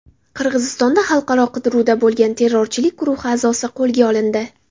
Qirg‘izistonda xalqaro qidiruvda bo‘lgan terrorchilik guruhi a’zosi qo‘lga olindi.